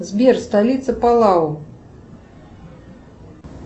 сбер столица палау